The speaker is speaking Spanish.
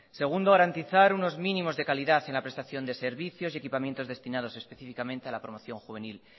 segundo garantizar unos mínimos de calidad en la prestación de servicios y equipamientos destinados específicamente a la promoción juvenil